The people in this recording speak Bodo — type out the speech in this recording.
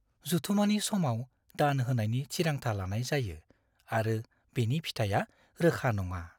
जथुमानि समाव दान होनायनि थिरांथा लानाय जायो आरो बेनि फिथाया रोखा नङा।